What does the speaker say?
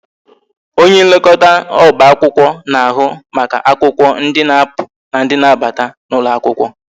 Onye nlekọta oba akwụkwọ na-ahụ maka akwụkwọ ndi na-apụ na ndị na-abata n'ụlọ akwụkwọ